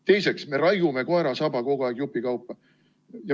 Teiseks, me raiume koera saba kogu aeg jupikaupa.